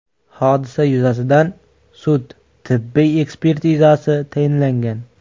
Hodisa yuzasidan sud-tibbiy ekspertizasi tayinlangan.